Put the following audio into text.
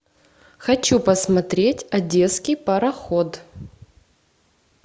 хочу посмотреть одесский пароход